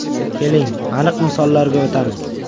Keling, aniq misollarga o‘tamiz.